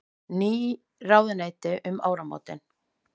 Ný ráðuneyti um áramót